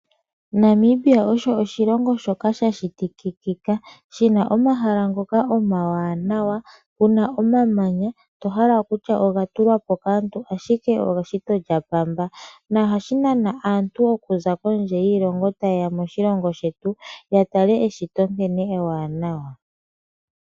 Namibia osho oshilongo shoka sha shitikika. Shi na omahala omawanawa . Pu na omamanya to hala kutya oga tulwa po kaantu ashike eshito lyaKalunga. Ohashi nana aatalelipo ye ye moshilongo shetu ya tale eshito nkene ewanawa.